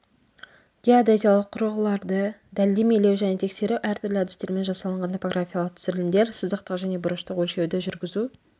геодезиялық құрылғыларды дәлдемелеу және тексеру әртүрлі әдістермен жасалынған топографиялық түсірілімдер сызықтық және бұрыштық өлшеуді жүргізу